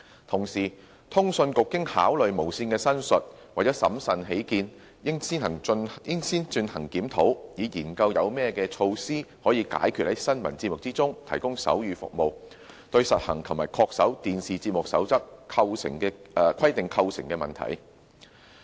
同時，通訊局經考慮無綫的申述，為審慎起見，認為應先進行檢討，以研究有何措施，可解決在新聞節目提供手語服務，對實行及恪守《電視節目守則》規定構成的問題。